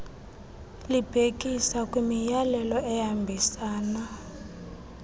libhekisa kwimiyalelo ehambisana